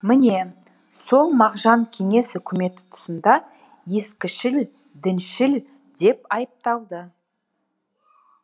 міне сол мағжан кеңес үкіметі тұсында ескішіл діншіл деп айыпталды